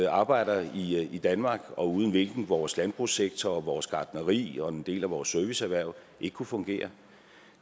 arbejder i i danmark og uden hvilke vores landbrugssektor vores gartneri og en del af vores serviceerhverv ikke kunne fungere